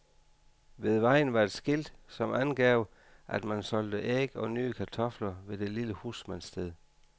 Ved vejen var et skilt, som angav, at man solgte æg og nye kartofler ved det lille husmandssted.